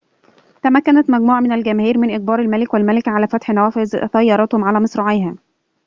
تمكنت مجموعة من الجماهير من إجبار الملك والملكة على فتح نوافذ سيارتهم على مصراعيها